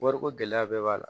Wariko gɛlɛya bɛɛ b'a la